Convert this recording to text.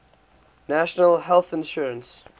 national health insurance